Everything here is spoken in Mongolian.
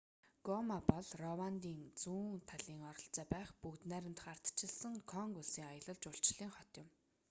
гома бол рвандын зүүн талын ойролцоо байх бүгд найрамдах ардчилсан конго улсын аялал жуулчлалын хот юм